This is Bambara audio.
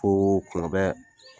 Koko kun bɛ